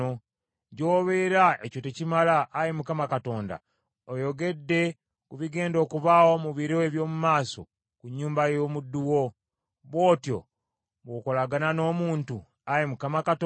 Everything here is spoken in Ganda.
Gy’obeera ekyo tekimala, Ayi Mukama Katonda, oyogedde ku bigenda okubaawo mu biro eby’omu maaso ku nnyumba ey’omuddu wo. Bw’otyo bw’okolagana n’omuntu, Ayi Mukama Katonda?